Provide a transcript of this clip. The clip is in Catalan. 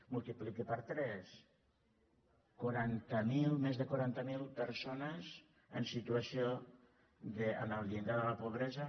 multipliqui per tres més de quaranta mil persones en situació al llindar de la pobresa